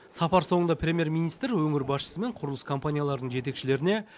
сапар соңында премьер министр өңір басшысы мен құрылыс компанияларының жетекшілеріне